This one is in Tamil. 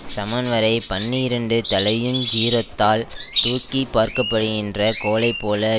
சமன்வரைப் பண்ணிரண்டு தலையுஞ் சீரொத்தால் தூக்கி பார்க்கப்படுகின்ற கோலைப்போல